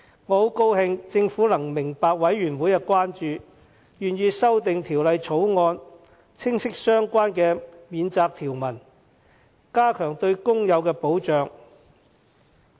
我很高興政府明白法案委員會的關注，願意修訂《條例草案》，清晰相關的免責條文，加強對工友的保障。